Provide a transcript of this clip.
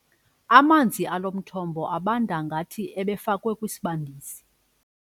Amanzi alo mthombo abanda ngathi ebefakwe kwisibandisi.